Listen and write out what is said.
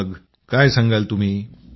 मग काय सांगाल तुम्ही